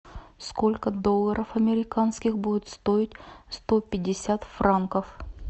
сколько долларов американских будет стоить сто пятьдесят франков